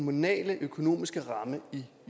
den at